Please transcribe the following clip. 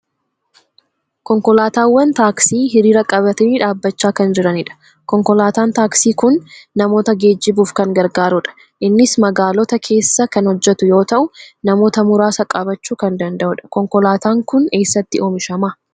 Konkolaatawwan taaksii hiriira qabatanii dhaabbachaa kan jiranidha. Konkolaataan taksii kun namoota geejjibuuf kan gargaarudha. Innis magaalota keessa kan hojjetu yoo ta'u, namoota muraasa qabachuu kan danda'udha. Konkolaataan kun eessatti oomishama?